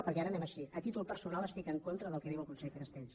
perquè anem així a títol personal estic en contra del que diu el conseller castells